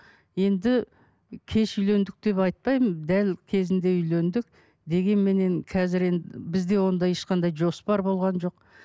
енді кеш үйлендік деп айтпаймын дәл кезінде үйлендік дегенменен қазір бізде ондай ешқандай жоспар болған жоқ